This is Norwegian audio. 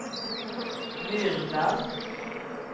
Myrdal